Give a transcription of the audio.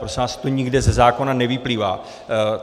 Prosím vás, to nikde ze zákona nevyplývá.